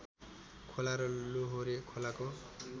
खोला र लोहोरे खोलाको